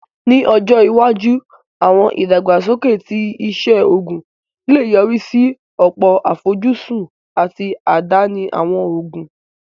Ní ọjọ́ iwájú, àwọn ìdàgbàsókè ti iṣẹ́ oògùn lè yọrí sí ọ̀pọ̀ àfojúsùn àti àdáni àwọn òògùn